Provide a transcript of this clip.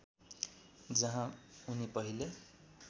जहाँ उनी पहिले